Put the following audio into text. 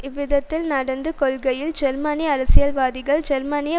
எழுதியது இவ்விதத்தில் நடந்து கொள்கையில் ஜெர்மனிய அரசியல்வாதிகள் ஜெர்மனிய